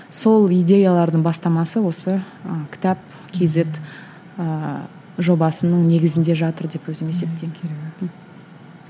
сол идеялардың бастамасы осы ы кітап кейзет ыыы жобасының негізінде жатыр деп өзім